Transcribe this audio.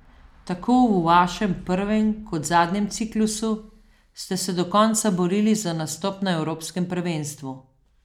Tako v vašem prvem kot zadnjem ciklusu ste se do konca borili za nastop na evropskem prvenstvu.